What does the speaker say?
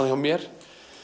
hjá mér